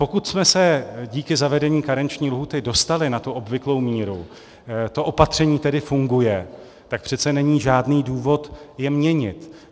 Pokud jsme se díky zavedení karenční lhůty dostali na tu obvyklou míru, to opatření tedy funguje, tak přece není žádný důvod je měnit.